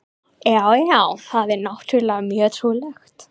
Já, já, það er náttúrlega mjög trúlegt.